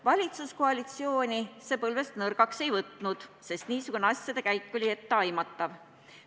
Valitsuskoalitsiooni see põlvist nõrgaks ei võtnud, sest niisugune asjade käik oli etteaimatav.